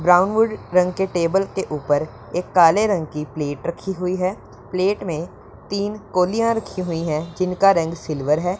Brown wood रंग के table के ऊपर एक काले रंग की प्लेट रखी हुई हैं प्लेट में तीन कोलियां रखी हुई है जीनका रंग सिल्वर हैं।